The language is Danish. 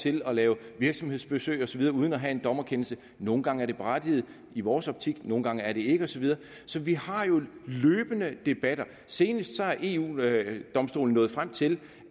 til at lave virksomhedsbesøg og så videre uden at have en dommerkendelse nogle gange er det berettiget i vores optik nogle gange er det ikke og så videre så vi har jo en løbende debat senest er eu domstolen nået frem til